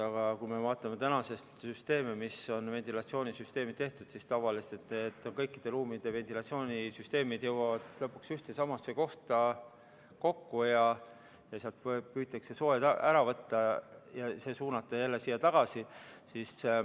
Aga kui me vaatame tänaseid süsteeme, kuidas on ventilatsioonisüsteemid tehtud, siis tavaliselt viivad kõikide ruumide ventilatsioonisüsteemid lõpuks ühte ja samasse kohta kokku, sealt püütakse soojus ära võtta ja suunata see jälle tagasi.